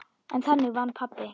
En þannig vann pabbi.